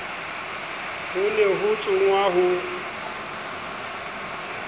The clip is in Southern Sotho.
ho ne ho tsongwa ho